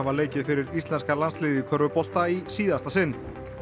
leikið fyrir íslenska landsliðið í körfubolta í síðasta sinn